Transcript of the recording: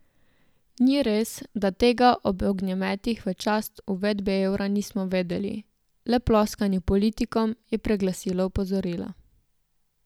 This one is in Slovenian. Ni res, da tega ob ognjemetih v čast uvedbe evra nismo vedeli, le ploskanje politikom je preglasilo opozorila.